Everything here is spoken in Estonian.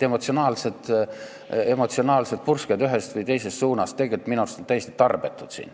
Nii et emotsionaalsed pursked ühes või teises suunas on minu arust siin täiesti tarbetud.